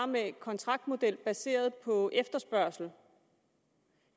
med en kontraktmodel baseret på efterspørgsel